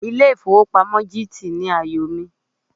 Ilé ìfowópamọ́ GT ni àyò mi.